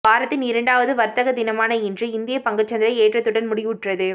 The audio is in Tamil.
வாரத்தின் இரண்டாவது வர்த்தக தினமான இன்று இந்திய பங்குச்சந்தை ஏற்றதுடன் முடிவுற்றது